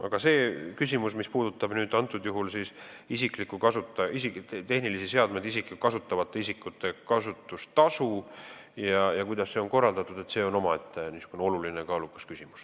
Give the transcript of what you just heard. Aga mis puudutab tehnilisi seadmeid ja kasutustasu ning seda, kuidas see on korraldatud, siis see on omaette oluline ja kaalukas küsimus.